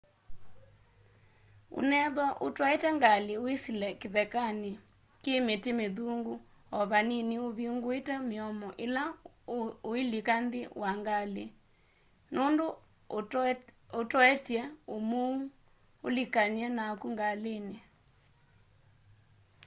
unethwa utwaite ngali wisile kithekani ki miti mithungu o vanini uvinguite miomo ila uulika nthini wa ngali nundu utoetye umuu ulikany'e naku ngalini